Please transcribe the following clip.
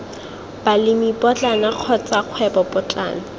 balemi potlana kotsa kgwebo potlana